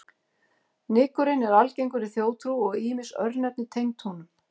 Nykurinn er algengur í þjóðtrú og ýmis örnefni tengd honum.